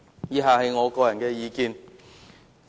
以下是我的個人意見。